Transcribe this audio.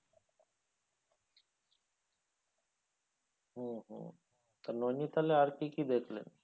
হুম হুম তা নৈনিতালে আর কী কী দেখলেন?